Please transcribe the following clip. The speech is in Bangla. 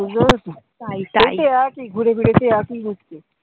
বুঝতে পড়েছো? ঘুরেফিরে সেই একই ঘুরছে।